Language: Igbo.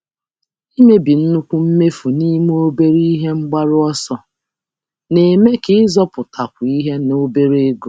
Ịkewa nnukwu mmefu n'ime obere ebumnuche na-eme na-eme ka nchekwa dị mfe na ego dị ntakịrị.